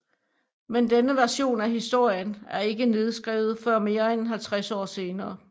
Men denne version af historien er ikke nedskrevet før mere end 50 år senere